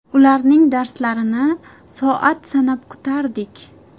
Ularning darslarini soat sanab kutardik.